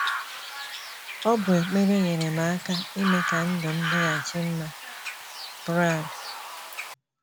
“ Ọ bụ ekpere nyeere m aka ime ka ndụ m dịghachi mma. ” Brad.